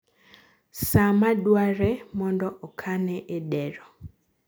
saa ma dwarre mondo okane e dero